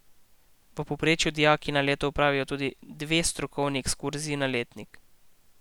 V povprečju dijaki na leto opravijo tudi dve strokovni ekskurziji na letnik.